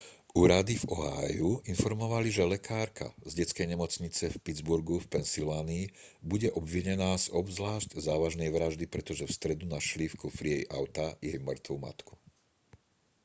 úrady v ohiu informovali že lekárka z detskej nemocnice v pittsburghu v pensylvánii bude obvinená z obzvlášť závažnej vraždy pretože v stredu našli v kufri jej auta jej mŕtvu matku